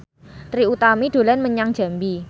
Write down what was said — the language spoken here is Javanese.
Trie Utami dolan menyang Jambi